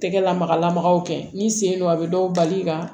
Tɛgɛ lamagalamagaw kɛ n'i sen don a bɛ dɔw bali ka